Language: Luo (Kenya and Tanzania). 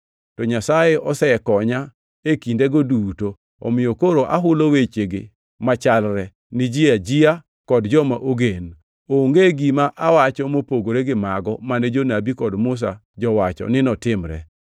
To Nyasaye osekonya e kindego duto, omiyo koro ahulo wechegi machalre, ni ji ajia kod joma ogen. Onge gima awacho mopogore gi mago mane jonabi kod Musa jowacho ni notimre.